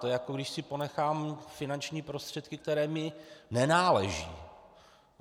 To je, jako když si ponechám finanční prostředky, které mi nenáleží.